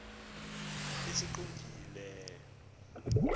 esingqongileyo